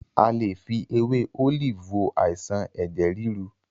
A lè fi ewé Olive wo àìsàn ẹ̀jẹ̀ ríru.